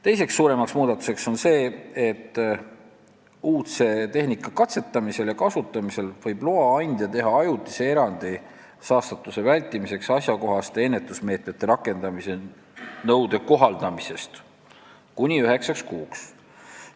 Teine suurem muudatus on see, et uudse tehnika katsetamisel ja kasutamisel võib loa andja teha ajutise erandi saastatuse vältimiseks asjakohaste ennetusmeetmete rakendamise nõude kohaldamisest kuni üheksaks kuuks.